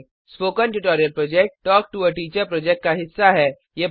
spoken tutorial project talk to a teacher project का हिस्सा है